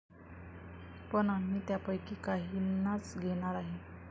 पण आम्ही त्यापैकी काहींनाच घेणार आहे.